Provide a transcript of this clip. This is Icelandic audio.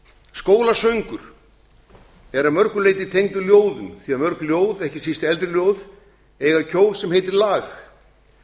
skólasöngur er að mörgu leyti tengdur ljóðunum því að mörg ljóð ekki síst eldri ljóð eiga kjól sem heitir lag